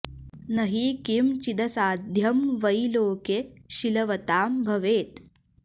न हि किं चिदसाध्यं वै लोके शीलवतां भवेत्